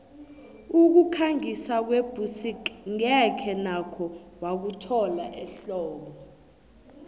ukukhangisa kwebusik ngeze nakho wakuthola ehlobo